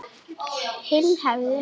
Hinn hefði